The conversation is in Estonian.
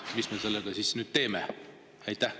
Mis me sellega siis nüüd teeme?